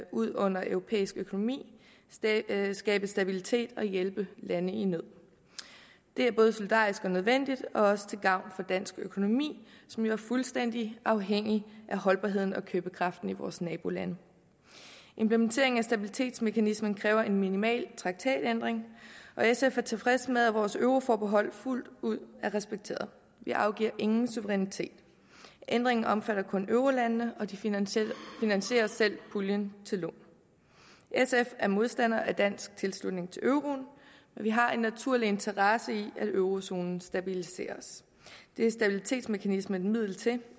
ud under europæisk økonomi skabe stabilitet og hjælpe lande i nød det er både solidarisk og nødvendigt og også til gavn for dansk økonomi som jo er fuldstændig afhængig af holdbarheden og købekraften i vores nabolande implementeringen af stabilitetsmekanismen kræver en minimal traktatændring og sf er tilfreds med at vores euroforbehold fuldt ud er respekteret vi afgiver ingen suverænitet ændringen omfatter kun eurolandene og de finansierer finansierer selv puljen til lån sf er modstandere af dansk tilslutning til euroen vi har en naturlig interesse i at eurozonen stabiliseres det er stabilitetsmekanismen et middel til